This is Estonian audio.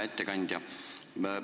Hea ettekandja!